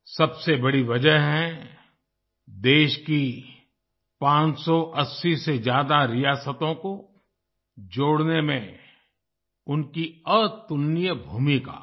सबसे बड़ी वजह है देश की 580 से ज्यादा रियासतों को जोड़ने में उनकी अतुलनीय भूमिका